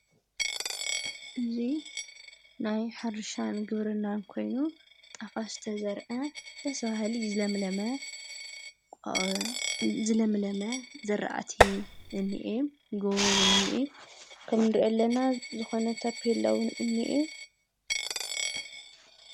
እዙይ ናይ ሓርሻን ግብርና እንኮይኑ ጣፍ ዝተዘርአ ደስበሃሊ ዝለምለመ ዘለምለመ ዘረአቲ እኒየ ጐቦውን ኒእ ከም ድርየለና ዝኾነተብየለዉን እንየ።